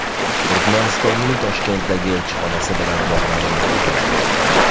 Turkmanistonning Toshkentdagi elchixonasi bilan bog‘lanib bo‘lmayapti.